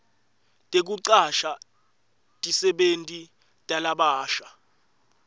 tekucasha tisebenti talabasha